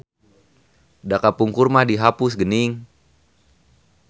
Da kapungkur mah dihapus geuning.